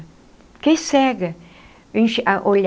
Fiquei cega.